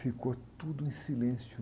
Ficou tudo em silêncio.